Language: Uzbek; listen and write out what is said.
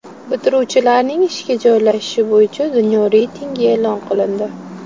Bitiruvchilarning ishga joylashishi bo‘yicha dunyo reytingi e’lon qilindi.